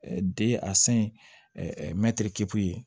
Den a san ye mɛtiri k'u ye